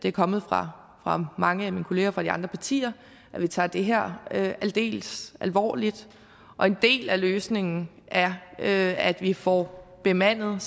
er kommet fra mange af mine kolleger fra de andre partier tager det her aldeles alvorligt og en del af løsningen er er at vi får bemandet